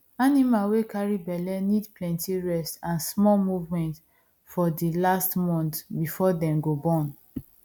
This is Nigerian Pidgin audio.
animal wey carry belle need plenty rest and small movement for the last month before dem go born